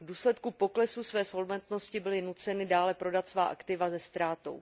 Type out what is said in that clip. V důsledku poklesu své solventnosti byly nuceny dále prodat svá aktiva se ztrátou.